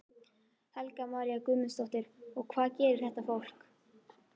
Helga María Guðmundsdóttir: Og hvað gerir þetta fólk?